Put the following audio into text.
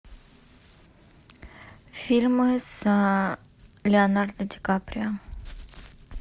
фильмы с леонардо ди каприо